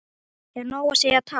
Er nóg að segja takk?